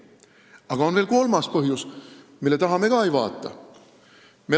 Aga on veel kolmas põhjus, mida me ka ei vaata.